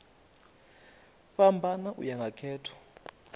fhambana u ya nga khetho